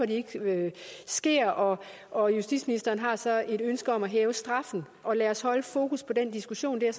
de ikke sker og og justitsministeren har så et ønske om at hæve straffen og lade os holde fokus på den diskussion det er